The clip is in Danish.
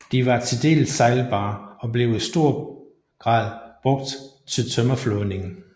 De var til dels sejlbare og blev i stor grad brugt til tømmerflådning